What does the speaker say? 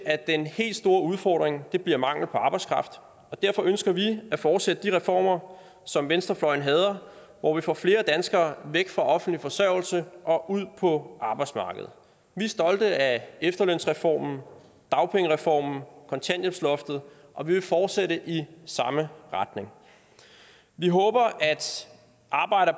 at den helt store udfordring bliver mangel på arbejdskraft og derfor ønsker vi at fortsætte de reformer som venstrefløjen hader hvor vi får flere danskere væk fra offentlig forsørgelse og ud på arbejdsmarkedet vi er stolte af efterlønsreformen dagpengereformen kontanthjælpsloftet og vi vil fortsætte i samme retning vi håber